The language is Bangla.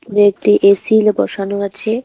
ও একটি এসিল বসানো আছে।